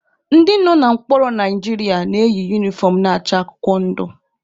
Ndị nọ na mkpọrọ Naijiria na-eyi unifọm na-acha akwụkwọ ndụ.